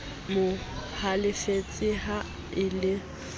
mo halefetse ha e le